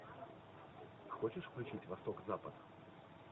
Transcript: хочешь включить восток запад